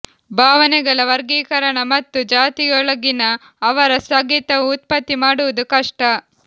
ಭಾವನೆಗಳ ವರ್ಗೀಕರಣ ಮತ್ತು ಜಾತಿಗಳೊಳಗಿನ ಅವರ ಸ್ಥಗಿತವು ಉತ್ಪತ್ತಿ ಮಾಡುವುದು ಕಷ್ಟ